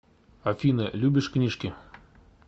афина любишь книжки